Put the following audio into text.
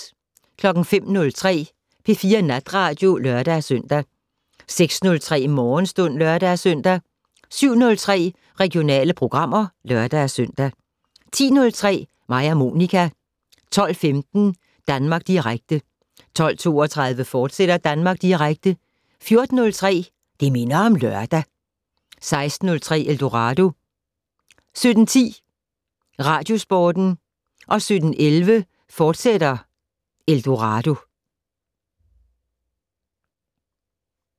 05:03: P4 Natradio (lør-søn) 06:03: Morgenstund (lør-søn) 07:03: Regionale programmer (lør-søn) 10:03: Mig og Monica 12:15: Danmark Direkte 12:32: Danmark Direkte, fortsat 14:03: Det' Minder om Lørdag 16:03: Eldorado 17:10: Radiosporten 17:11: Eldorado, fortsat